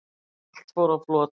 Allt fór á flot